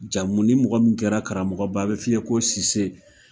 Jamu ni mɔgɔ min kɛra karamɔgɔba a bɛ f'i ye ko Cisse.